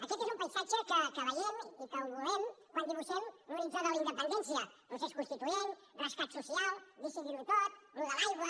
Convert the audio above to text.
aquest és un paisatge que veiem i que volem quan dibuixem l’horitzó de la independència procés constituent rescat social decidir ho tot allò de l’aigua